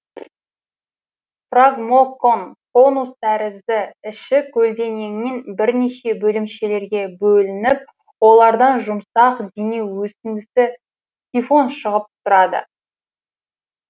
фрагмокон конус тәрізді іші көлденеңінен бірнеше бөлімшелерге бөлініп олардан жұмсақ дене өсіндісі сифон шығып тұрады